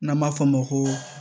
N'an b'a fɔ o ma ko